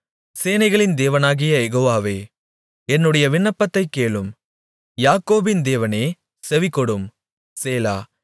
சேனைகளின் தேவனாகிய யெகோவாவே என்னுடைய விண்ணப்பத்தைக் கேளும் யாக்கோபின் தேவனே செவிகொடும் சேலா